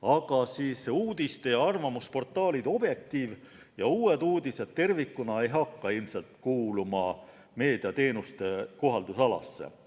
Aga uudiste- ja arvamusportaalid Objektiiv ja Uued Uudised tervikuna ilmselt ei hakka kuuluma meediateenuste seaduse kohaldamisalasse.